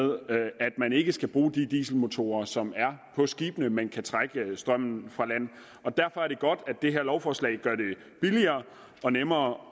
ikke skal bruge de dieselmotorer som er på skibene men kan trække strømmen fra land og derfor er det godt at det her lovforslag gør det billigere og nemmere